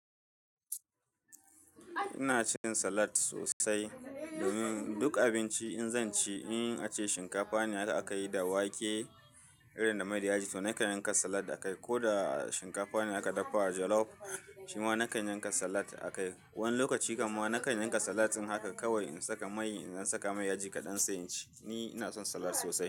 Ina cin salad sosai domin duk abinci in zan ci, in ace shinkafa ne har aka yi da wake irin da mai da yaji to nakan yanka salad akai, ko da shinkafa ne aka dafa jolof shima nakan yanka salad akai. Wani lokaci kaman nakan yanka salad ɗin haka kawai in saka mai, in ɗan saka mai yaji kaɗan sai in ci. Ni ina son salad sosai.